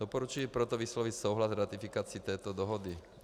Doporučuji proto vyslovit souhlas s ratifikací této dohody.